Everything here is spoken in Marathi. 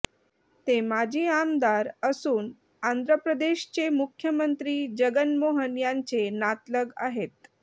ते माजी आमदार असून आंध्रप्रदेशचे मुख्यमंत्री जगनमोहन यांचे नातलग आहेत